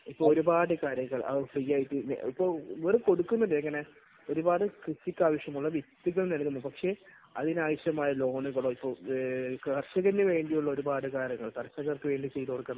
ഇപ്പോൾ ഒരുപാട് കാര്യങ്ങൾ അത് ഫ്രീ ആയിട്ട്, ഓര് കൊടുക്കുന്നുണ്ട് ഇങ്ങനെ ഒരുപാട് കൃഷിക്കാവശ്യമുള്ള വിത്തുകൾ നൽകുന്നുണ്ട്. പക്ഷേ അതിനാവശ്യമായ ലോണുകളോ ഇപ്പോൾ കർഷകന് വേണ്ടിയുള്ള ഒരുപാട് കാര്യങ്ങൾ കർഷകർക്കുവേണ്ടി ചെയ്തുകൊടുക്കാൻ